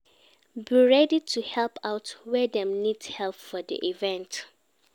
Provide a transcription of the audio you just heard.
Be ready to help out where dem need help for di event